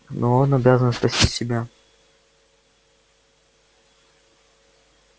но он обязан спасти себя